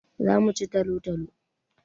Za mu ci talo-talo.